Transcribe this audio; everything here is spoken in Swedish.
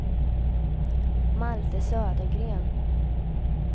Malte Södergren